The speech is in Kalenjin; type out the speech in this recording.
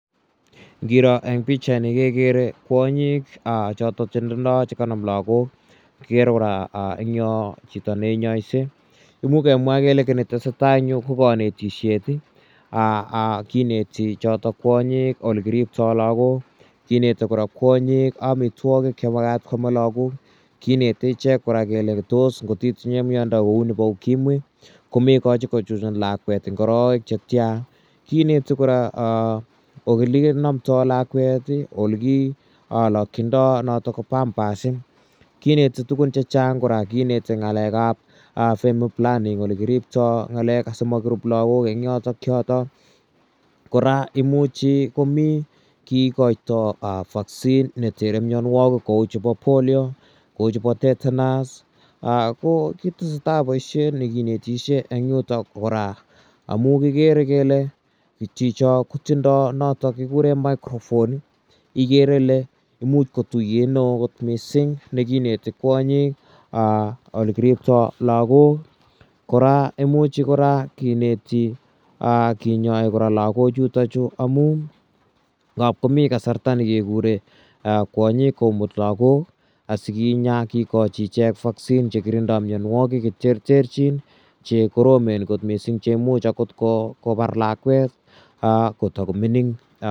Ngiro eng' pichaini kekere kwonyik chotok che tindai che kanam lagok. Kikere kora eng' yo chito ne inyaisei. Imuch kemwa kele kit ne tese tai eng' yu ko kanetishet. Kineti chotok kwonyik ole kiriptai lagok, kineti kora kwonyik amitwogik che makat koame lagok, Kineti ichek kora kole tos ngot itinye miondo nepo Ukimwi ko mekachi ko chuchun lakwet eng' arawek che tia, kineti kora ole kinamdai lakwet i, ole ki lakchindai notok ko pampas. Kineti tugun che chang' kora , kineti ng'alek ap family planning ole kiriptai ng'alek asimakirup lagok eng' yotok. Kora imuchi ko mi kikaitai vaccine ne tere mianwagik kou chepo Polio, kou chepo tetanus, ko kitese tai poishet ne kinetishe eng' yutok kora amu kikere kele chicho ko tindai notok kikure microphone ikere ile imuch ko tuyet ne oo missing' ne kineti kwonyik lle kiriptai lagok. Kora imuchi kora kineti, kinyai lagochutachu amun ngap komi kasarta ne kekure kwonyik komut lagok asi kinya kikachi ichek vaccine che kirindai mianwagik che terterchin che koromen kot missing' che imuchi akot kopar lakwet ko tako mining'.